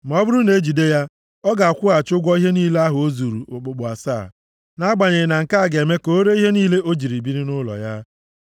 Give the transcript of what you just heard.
Ma ọ bụrụ na ejide ya ọ ga-akwụghachi ụgwọ ihe niile ahụ o zuru okpukpu asaa. Nʼagbanyeghị na nke a ga-eme ka o ree ihe niile o ji biri nʼụlọ ya.